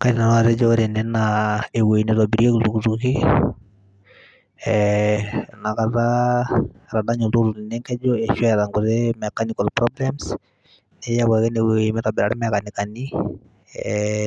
kaidim nanu atejo ewoi ena naitobirieki iltuktuki ee inakata etadanye oltukutuk lino enkejo ashu eyata nkuti mechanical problems niyau ake ene woji mitobira imekanikani,